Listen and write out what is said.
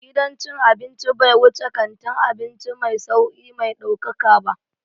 Gidan cin abinci bai wuce kantin abinci mai sauri mai ɗaukaka ba